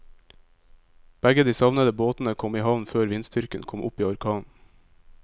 Begge de savnede båtene kom i havn før vindstyrken kom opp i orkan.